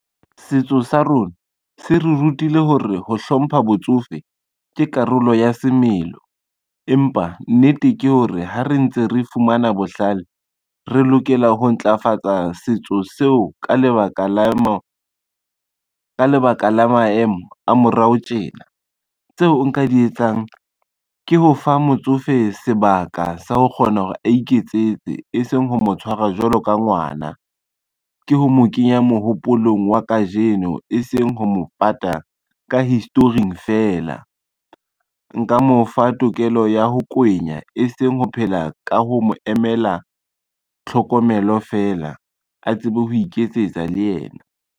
Setso sa rona se re rutile ho re ho hlompha botsofe ke karolo ya semelo, empa nnete ke hore ha re ntse re fumana bohlale re lokela ho ntlafatsa setso seo ka lebaka la maemo a morao tjena. Tseo nka di etsang ke ho fa motsofe sebaka sa ho kgona hore a iketsetse e seng ho mo tshwarwa jwalo ka ngwana, ke ho mo kenya mohopolong wa kajeno e seng ho mo pata ka history-ing fela. Nka mo fa tokelo ya ho kwenya, e seng ho phela ka ho mo emela tlhokomelo fela, a tsebe ho iketsetsa le yena.